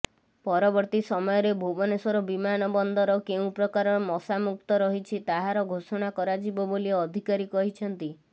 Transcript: ପରବର୍ତୀ ସମୟରେ ଭୁବନେଶ୍ୱର ବିମାନ ବନ୍ଦର କେଉଁ ପ୍ରକାର ମଶାମୁକ୍ତ ରହିଛି ତାହାର ଘୋଷଣା କରାଯିବ ବୋଲି ଅଧିକାରୀ କହିଛନ୍ତି